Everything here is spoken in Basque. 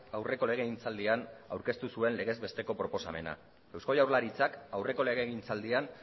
aurreko legegintzaldian aurkeztu zuen legez besteko proposamena eusko jaurlaritzak aurreko legegintzaldian